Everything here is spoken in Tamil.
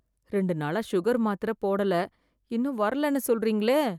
ரெண்டு நாளா சுகர் மாத்திரை போடல இன்னும் வரலன்னு சொல்றீங்களே